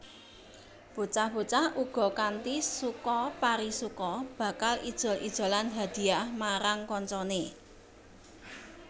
Bocah bocah uga kanthi suka parisuka bakal ijol ijolan hadhiyah marang kancane